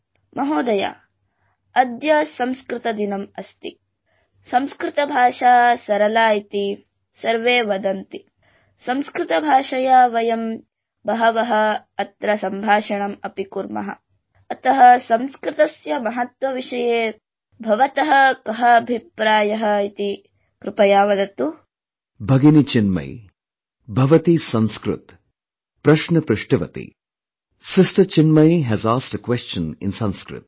BhaginiChinmayee, भवती संस्कृत प्रश्न पृष्टवत्ती| Sister Chinmayee has asked a question in Sanskrit